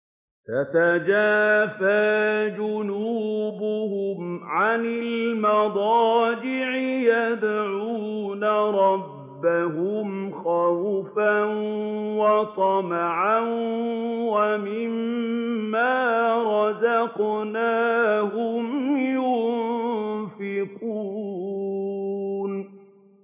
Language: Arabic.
تَتَجَافَىٰ جُنُوبُهُمْ عَنِ الْمَضَاجِعِ يَدْعُونَ رَبَّهُمْ خَوْفًا وَطَمَعًا وَمِمَّا رَزَقْنَاهُمْ يُنفِقُونَ